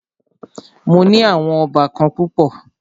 Mó ní àwọn óbàkan púpọ̀.